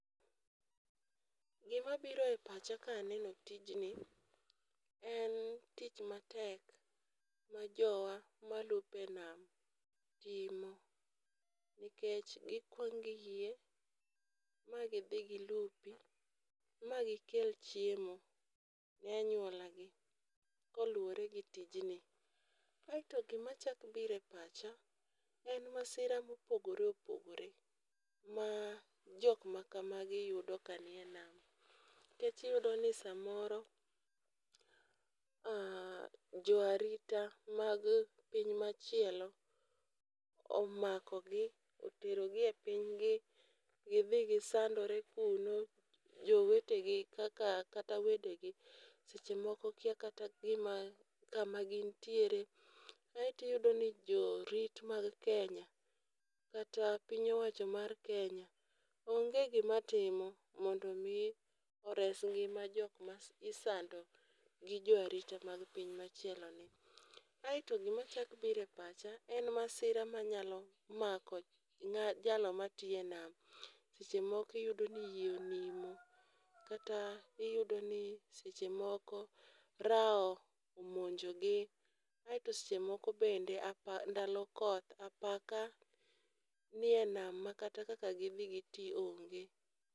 Gima biro e pacha kaneno tijni, en tich matek ma jowa malupe nam timo. Nikech gikwang' giyie ma gidhi gi lupi ma gi kel chiemo ne anyuola gi koluwore gi tijni. Aeto gima chak bire pacha en masira mopogore opogore ma jok ma kamagi yudo kani e nam nikech iyudo ni samoro , jo arita mag piny machielo omako gi otero gi e piny gi gidhi gisandore kuno. Jowetegi kaka kata wede gi seche moko kia kata gima kama gintiere. Kaeto iyudo ni jorit mag kenye kata piny owacho mar kenya onge gima timo mondo ores ngima jok ma isando gi jo arita mag piny machielo ni. Aeto gima chak bire pacha ene masira manyalo mako jalo matiye nam. Seche moko iyudo ni yie onimo kata iyudo ni seche moko rao omonji gi. Aeto seche moko bende apa ndalo koth apaka niye nama makata kaka gidhi giti onge.